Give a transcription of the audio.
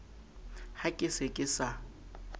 ha ke se ke sa